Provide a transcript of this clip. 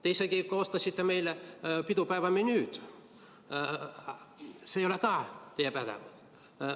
Te isegi koostasite meile pidupäeva menüü – ka see ei ole teie pädevuses.